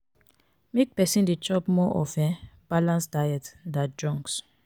make persin de chop more of um balance diet than junks